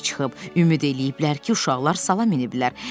Ümid eləyiblər ki, uşaqlar sala miniblər.